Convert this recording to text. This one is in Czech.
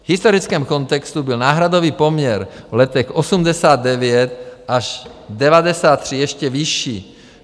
V historickém kontextu byl náhradový poměr v letech 1989 až 1993 ještě vyšší.